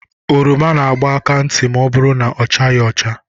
Oroma na-agba aka ntị ma ọ bụrụ na ọ chaghị acha.